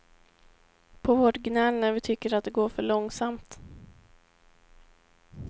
På vårt gnäll när vi tycker att det går för långsamt.